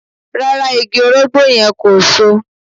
Rárá, igi orogbó yẹn kò So